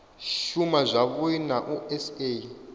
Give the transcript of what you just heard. shuma zwavhui na u sa